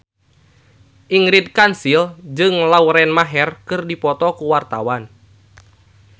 Ingrid Kansil jeung Lauren Maher keur dipoto ku wartawan